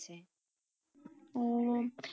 উম